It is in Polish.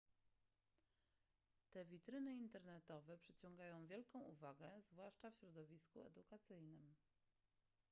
te witryny internetowe przyciągają wielką uwagę zwłaszcza w środowisku edukacyjnym